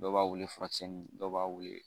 Dɔw b'a wele furakisɛ ni dɔw b'a wele